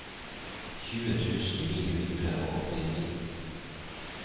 tjue tusen ni hundre og åttini